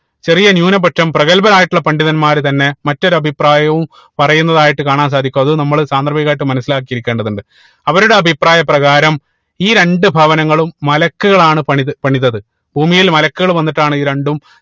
ചെറിയ ന്യൂനപക്ഷം പ്രഗൽഭരായിട്ടുള്ള പണ്ഡിതന്മാർ തന്നെ മറ്റൊരു അഭിപ്രായവും പറയുന്നുന്നതായിട്ട് കാണാൻ സാധിക്കും അത് നമ്മള് സാന്ദർഭികമായിട്ട് മനസിലാക്കിയിരിക്കേണ്ടതുണ്ട് അവരുടെ അഭിപ്രായ പ്രകാരം ഈ രണ്ട് ഭവനങ്ങളും മലക്കുകളാണ് പണിത് പണിതത് ഭൂമിയിൽ മലക്കുകൾ വന്നിട്ടാണ് ഇത് രണ്ടും